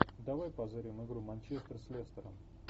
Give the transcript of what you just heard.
давай позырим игру манчестер с лестером